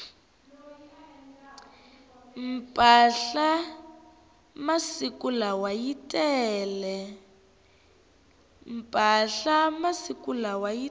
mpahla masiku lawa yi tele